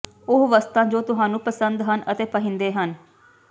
ਉਹ ਵਸਤਾਂ ਜੋ ਤੁਹਾਨੂੰ ਪਸੰਦ ਹਨ ਅਤੇ ਪਹਿਨਦੇ ਹਨ